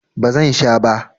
Ba zan sha ba.